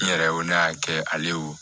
N yɛrɛ ko ne y'a kɛ ale wo